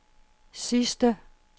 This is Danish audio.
sidste